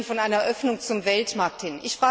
Sie sprechen von einer Öffnung zum Weltmarkt hin.